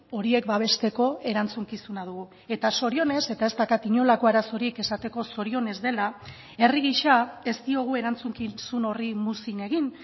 horiek babesteko erantzukizuna dugu eta zorionez eta ez daukat inolako arazorik esateko zorionez dela herri gisa ez diogu erantzukizun horri muzin egin